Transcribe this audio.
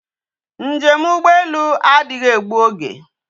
Njem ugbo elu adighi egbu oge